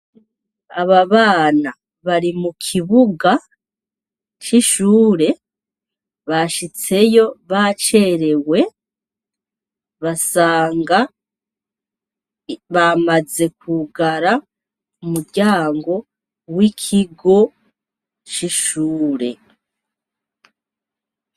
Aba bana bari mukibuga c'ishure bashitseyo bacerewe basanga bamaze kwugara umuryango wikigo c'ishure.